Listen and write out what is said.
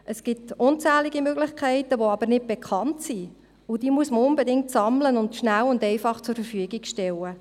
Es gibt unzählige Möglichkeiten, die aber nicht bekannt sind, und diese muss man unbedingt sammeln und schnell und einfach zur Verfügung stellen.